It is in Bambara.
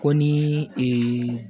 Ko ni ee